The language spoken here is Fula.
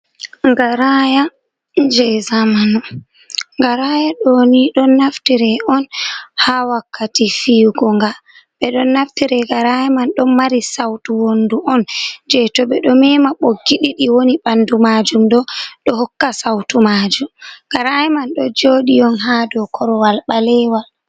Garaya je zamanu. Garaya ɗo ni, ɗo naftire on haa wakkati fiyugo nga. Ɓe ɗon naftire garaya man, ɗon mari sautu wondu on je to ɓe ɗo mema ɓoggi ɗiɗi woni ɓandu maajum ɗo, ɗo hokka sautu maajum. Garaya man ɗo jooɗi on haa dow korowal ɓalewal.